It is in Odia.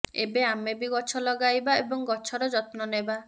ଏବେ ଆମେ ବି ଗଛ ଲଗାଇବା ଏବଂ ଗଛର ଯତ୍ନ ନେବା